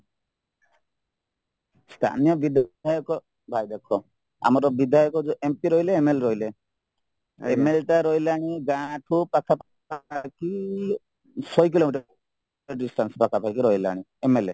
ସ୍ଥାନୀୟ ବିଧାୟକ ଭାଇ ଦେଖ ଆମର ବିଧାୟକ ଯୋଉ mp ରହିଲେ MLA ରହିଲେ ML ରହିଲାଣୀ ଗାଁଠୁ ପାଖପାଖି ଶହେ କିଲୋମିଟର distance ପାଖାପାଖି ରହିଲାନି mla